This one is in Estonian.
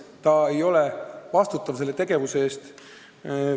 Ta ei ole vastutav selle tegevuse eest.